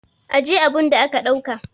Ajiye abun da ka dauka!